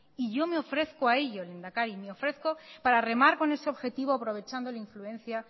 y yo me ofrezco a ello lehendakari yo me ofrezco a ello para remar con ese objetivo aprovechando la influencia